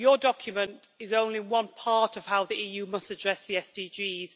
Your document is only one part of how the EU must address the SDGs.